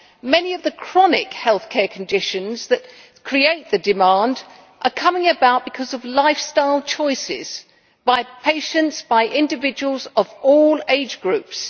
Many of the chronic healthcare conditions that create the demand are coming about because of lifestyle choices by patients and by individuals of all age groups.